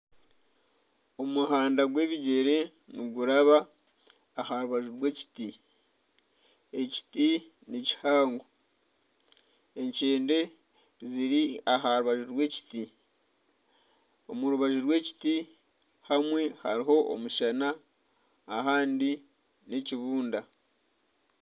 Omuhanda gw'ebigyere niguraba aharubaju rw'ekiti, ekiti ni kihango ekyende ziri aha rubaju rw'ekiti omu rubaju rw'ekiti hamwe hariho omushana ahandi n'ekibunda.